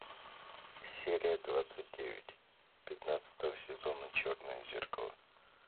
серия двадцать девять пятнадцатого сезона черное зеркало